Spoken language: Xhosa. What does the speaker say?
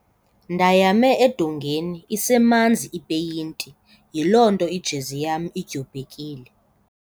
Ndayame edongeni isemanzi ipeyinti yiloo nto ijezi yam idyobhekile.